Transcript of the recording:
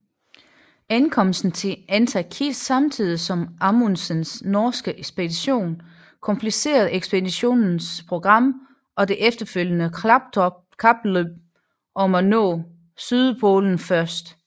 Ankomsten til Antarktis samtidig som Amundsens norske ekspedition komplicerede ekspeditionens program og det efterfølgende kapløb om at nå sydpolen først